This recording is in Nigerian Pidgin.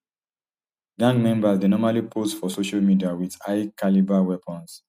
gang members dey normally pose for social media wit highcalibre weapons